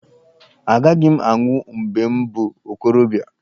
Agaghị m anwụ mgbe m bụ okorobịa.